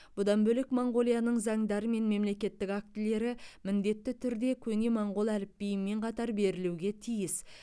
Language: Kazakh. бұдан бөлек моңғолияның заңдары мен мемлекеттік актілері міндетті түрде көне моңғол әліпбиімен қатар берілуге тиіс